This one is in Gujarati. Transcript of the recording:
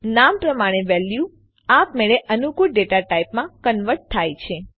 નામ પ્રમાણે વેલ્યુ આપમેળે અનુકૂળ ડેટા ટાઇપમાં કન્વર્ટ થાય છે